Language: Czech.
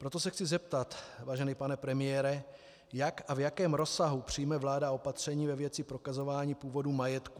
Proto se chci zeptat, vážený pane premiére, jak a v jakém rozsahu přijme vláda opatření ve věci prokazování původu majetku.